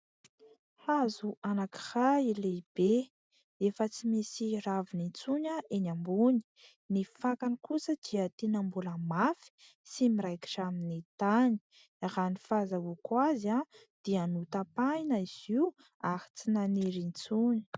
Hazo anankiray lehibe efa tsy misy raviny intsony eny ambony, ny fakany kosa dia tena mbola mafy sy miraikitra amin'ny tany; raha ny fahazoako azy dia notapahina izy io ary tsy naniry intsony.